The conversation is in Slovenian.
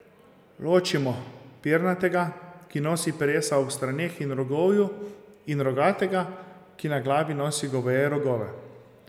Ločimo, pernatega, ki nosi peresa ob straneh in rogovju in rogatega, ki na glavi nosi goveje rogove.